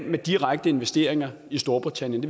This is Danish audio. med direkte investeringer i storbritannien